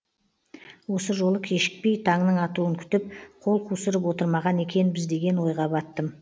осы жолы кешікпей таңның атуын күтіп қол қусырып отырмаған екенбіз деген ойға баттым